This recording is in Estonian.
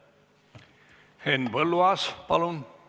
Henn Põlluaas, palun!